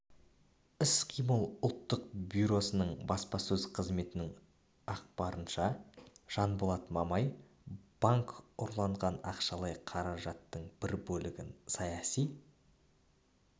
іс-қимыл ұлттық бюросының баспасөз қызметінің ақпарынша жанболат мамай банк ұрланған ақшалай қаражаттың бір бөлігін саяси